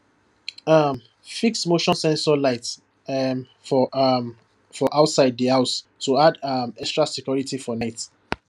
um e fix motion sensor light um for um for outside the house to add um extra security for night